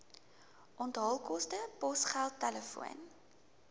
onthaalkoste posgeld telefoon